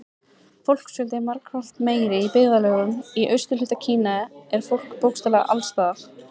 Fólksfjöldi er margfalt meiri Í byggðarlögum í austurhluta Kína er fólk bókstaflega alls staðar.